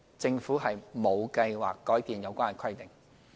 政府沒有計劃改變有關規定。